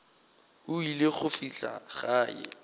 o ile go fihla gae